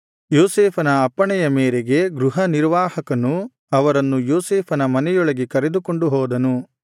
ಯೋಸೇಫನ ಅಪ್ಪಣೆಯ ಮೇರೆಗೆ ಗೃಹನಿರ್ವಾಹಕನು ಅವರನ್ನು ಯೋಸೇಫನ ಮನೆಯೊಳಗೆ ಕರೆದುಕೊಂಡು ಹೋದನು